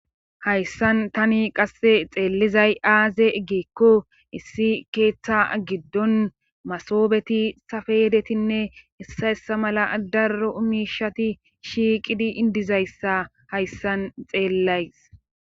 hayssan tani qasse xeellizay aaze eggeekko issi keeththa giddon masoobeti safeyedetinne issayssa mala darro umishati shiiqidi indizayssa hayssan xeellays